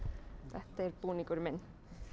þetta er búningurinn minn